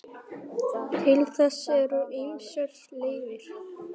Til þess eru ýmsar leiðir.